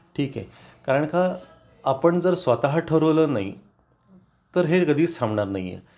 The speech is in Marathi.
ठीक आहे कारण का आपण जर स्वतः ठरवलं नाही तर हे कधीच थांबणार नाहीए